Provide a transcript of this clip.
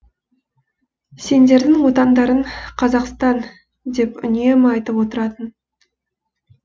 сендердің отандарың қазақстан деп үнемі айтып отыратын